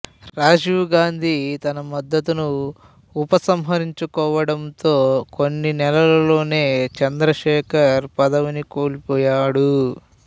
రాజీవ్ గాంధీ తన మద్దతును ఉపసంహరించుకోవడంతో కొన్ని నెలల్లోనే చంద్రశేఖర్ పదవిని కోల్పోయాడు